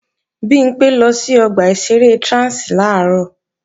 Bimpé lọ sí ọgbà ìṣeré Trans làárọ̀